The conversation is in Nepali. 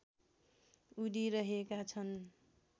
उडिरहेका छन्